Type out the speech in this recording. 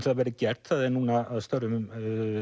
það verði gert það er núna að störfum